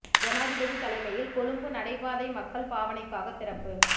ஜனாதிபதி தலைமையில் கொழும்பு நடைபாதை மக்கள் பாவனைக்காக திறப்பு